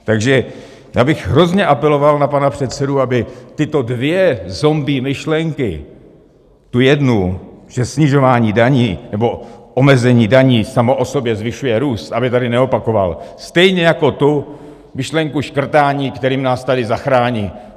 Takže já bych hrozně apeloval na pana předsedu, aby tyto dvě zombie myšlenky, tu jednu, že snižování daní nebo omezení daní samo o sobě zvyšuje růst, aby tady neopakoval, stejně jako tu myšlenku škrtání, kterým nás tady zachrání.